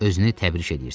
Özünü təbrik eləyirdi.